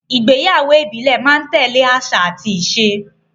Ìgbéyàwó ìbílẹ̀ máa ń tẹ́lẹ̀ àṣà àti ìṣe